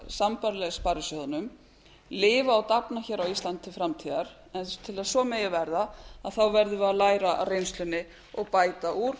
sambærileg sparisjóðunum lifa og dafna hér á íslandi til framtíðar en til að svo megi verða verðum við að læra af reynslunni og bæta úr og